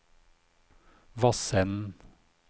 Vassenden